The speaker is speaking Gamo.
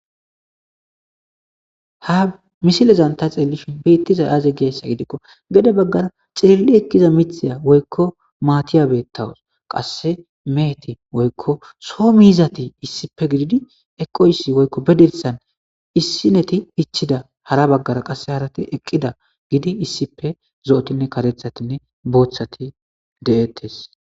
ha misilezan ta xieelishin beittiza aaze geessa gidikko gede baggara xirilli ekkiza mithiya woykko maatiya beettawos qasse meheti woykko soo mi hizati issippe gididi eqoysi woykko bedirsan issineti hichida hara baggara qasse haarati eqqida gidi issipe zo7otinne katethatinne booththati de7ettes